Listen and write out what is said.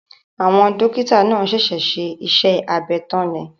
Àwọn Dókítà náà ṣẹ̀ṣẹ̀ ṣe iṣẹ́ abẹ tán ni